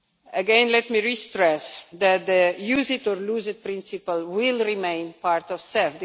Again, let me stress that the use it or lose it' principle will remain part of CEF.